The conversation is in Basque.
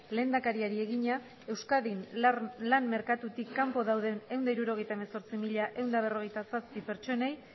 lehendakariari egina euskadin lan merkatutik kanpo dauden ehun eta hirurogeita hemezortzi mila ehun eta berrogeita zazpi pertsonei